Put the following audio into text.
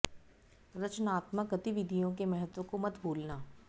रचनात्मक गतिविधियों के महत्व को मत भूलना